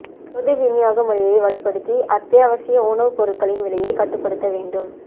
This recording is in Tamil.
பொது விநியோக முறையை வலுப்படுத்தி அத்தியாவசிய உணவுப் பொருள்களின் விலையைக் கட்டுப்படுத்த வேண்டும்